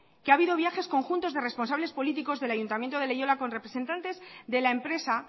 que ha habido viajes conjuntos de responsables políticos del ayuntamiento de leioa con representantes de la empresa